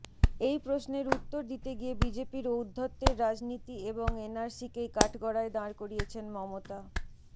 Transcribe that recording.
এই প্রশ্নের উত্তর দিতে গিয়ে বিজেপির ঔদ্ধত্যের রাজনীতি এবং এনআরসিকেই কাঠগড়ায় দাঁড় করিয়েছেন মমতা